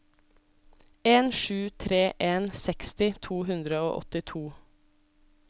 en sju tre en seksti to hundre og åttito